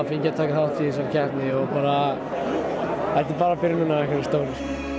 fengið að taka þátt í þessari keppni og þetta er bara byrjunin á einhverju stóru